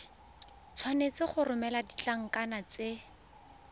tshwanetse go romela ditlankana tse